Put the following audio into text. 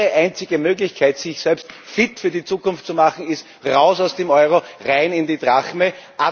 Ihre einzige Möglichkeit, sich selbst fit für die Zukunft zu machen, ist Heraus aus dem Euro, hinein in die Drachme.